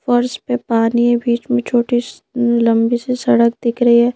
और इस पे पानी है बीच में छोटी लंबी सी सड़क दिख रही है।